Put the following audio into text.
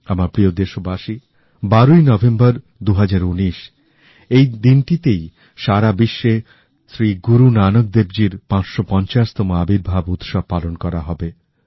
আমার প্রিয় দেশবাসী ১২ ই নভেম্বর ২০১৯ এই দিনটিতেই সারাবিশ্বে শ্রী গুরু নানক দেবজীর ৫৫০ তম আবির্ভাব উৎসব পালন করা হবে